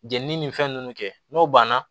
Jenini ni fɛn ninnu kɛ n'o banna